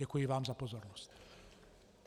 Děkuji vám za pozornost.